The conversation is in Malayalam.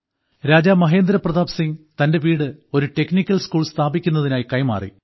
രാജാ മഹേന്ദ്രപ്രതാപ് സിംഗ് തന്റെ വീട് ഒരു ടെക്നിക്കൽ സ്കൂൾ സ്ഥാപിക്കുന്നതിനായി കൈമാറി